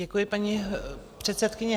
Děkuji, paní předsedkyně.